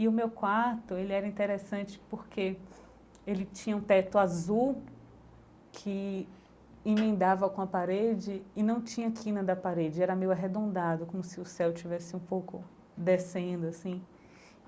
E o meu quarto ele era interessante porque ele tinha um teto azul que emendava com a parede e não tinha quina da parede, era meio arredondado, como se o céu tivesse um pouco descendo, assim.